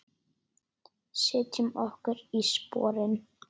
Setjum okkur í sporin.